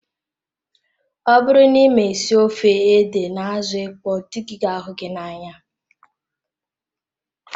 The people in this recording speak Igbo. Ọ bụrụ na ịma esi ofe ede na azụ ịkpọ dị gị ga ahụ gị n'anya